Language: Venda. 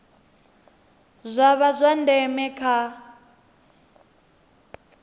zwa vha zwa ndeme kha